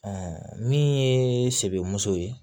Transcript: min ye sebemuso ye